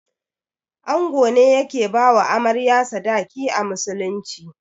Ango ne yake bawa Amarya sadaki a musulunci.